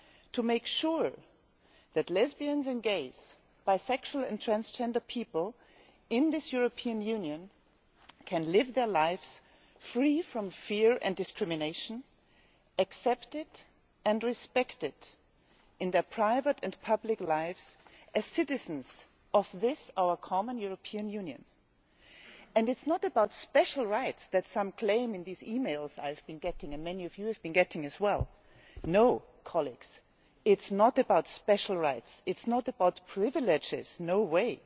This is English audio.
To make sure that lesbians and gays, bisexual and transgender people in this European Union can live their lives free from fear and discrimination, accepted and respected in their private and public lives, as citizens of this, our common European Union. This is not about special rights, which some are claiming in these e mails I and many of you have been getting. No, colleagues, it is not about special rights, it is not about privileges, no way!